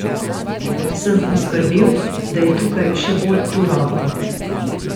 Sem poskrbel, da je tukaj še bolj turobno?